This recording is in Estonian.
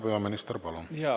Härra peaminister, palun!